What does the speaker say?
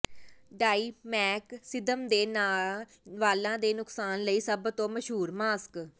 ਡਾਈਮੈਕਸਿਦਮ ਦੇ ਨਾਲ ਵਾਲਾਂ ਦੇ ਨੁਕਸਾਨ ਲਈ ਸਭ ਤੋਂ ਮਸ਼ਹੂਰ ਮਾਸਕ